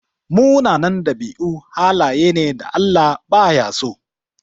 Munanan ɗabi'u halaye ne da Allah baya so.